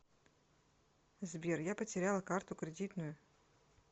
сбер я потеряла карту кредитную